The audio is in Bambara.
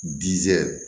Jizi